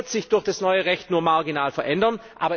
Das wird sich durch das neue Recht nur marginal verändern.